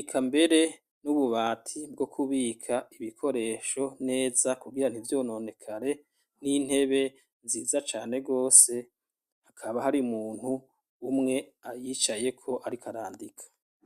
eka mbere n'ububati bwo kubika ibikoresho neza kugira nivyononekare n'intebe nziza cane rwose hakaba hari umuntu umwe ayicayeko ariko arandika.